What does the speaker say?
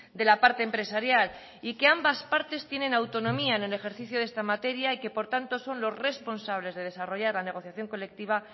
de la parte empresarial y que ambas partes tienen autonomía en el ejercicio de esta materia y que por tanto son los responsables de desarrollar la negociación colectiva